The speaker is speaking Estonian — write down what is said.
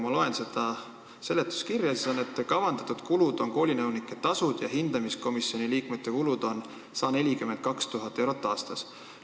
Ma loen seletuskirjast, et kavandatud kulud on koolinõunike tasud ja hindamiskomisjoni liikmete kulud ca 42 000 eurot aastas.